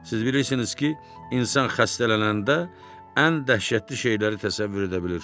Siz bilirsiniz ki, insan xəstələnəndə ən dəhşətli şeyləri təsəvvür edə bilir.